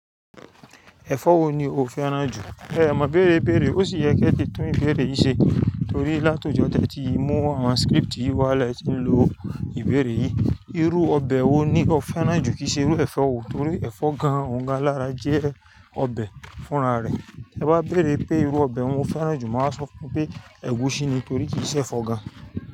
Ẹ̀fọ́ wo ni o fẹ́ràn jù? Ẹ mo ibéèrè béèrè, ó sì yẹ kí ẹ ti tún ìbéèrè yìí ṣe torí látọjọ́ tẹ́ tí mu àwọn script yìí wá lẹ ti ń lo ìbéèrè yìí. Irú ọbẹ̀ wo ni o fẹ́ràn jù kì í ṣe irú ẹ̀fọ́ wo torí ẹ̀fọ́ gan-an òun gan-an lára jẹ́ ọbẹ̀ fúnra rẹ̀. To bá béèrè pé irú ọbẹ̀ wo mo fẹ́ràn jù máa sọ fún pé ẹ̀gúsí ni torí kì í ṣe ẹ̀fọ́ gan.